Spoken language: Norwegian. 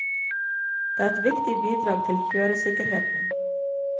Det er et viktig bidrag til kjøresikkerheten.